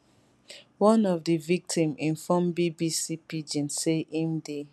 one of di victim inform bbc pidgin say im dey